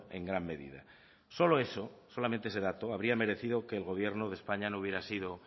en gran medida solo eso solamente ese dato habría merecido que el gobierno de españa no hubiera sido